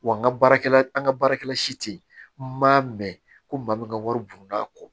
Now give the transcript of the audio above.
Wa n ka baarakɛla an ka baarakɛla si tɛ yen n ma mɛn ko maa min ka wari burunna a kɔ